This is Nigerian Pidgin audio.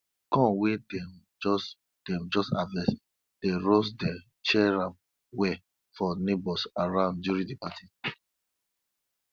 corn wey dem just dem just harvest dey roast then share am well for neighbours around during the party